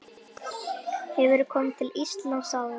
Hefurðu komið til Íslands áður?